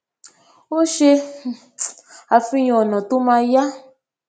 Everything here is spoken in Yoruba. ó ṣe um àfihàn ònà tó ma yá